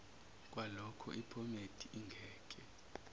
kwaloko iphomedi ingeke